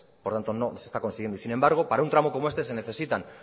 por tanto no se está consiguiendo y sin embargo para un tramo como este se necesitan